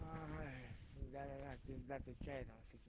аай да да да пиздатый чай там с этим